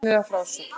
Sérkennileg frásögn